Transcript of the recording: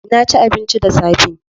Na ci abinci da safe.